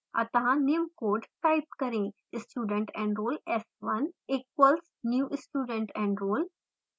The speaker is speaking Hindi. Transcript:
अत: निम्न code type करें: studentenroll s1 equals new studentenroll